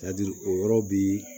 Ladiri o yɔrɔ bi